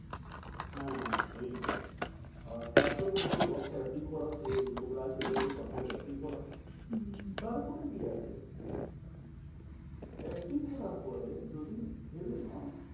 হ্যাঁ এইটাই আর তারপরে বলবে দশ টা FD করাও যে লোকরা আছে ওদেরকে কথা বলে FD করাও। হম তারপরে কি আছে? FD করার পরে যদি ভেবে নাও,